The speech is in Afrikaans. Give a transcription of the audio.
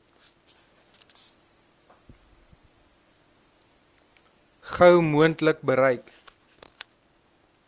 gou moontlik bereik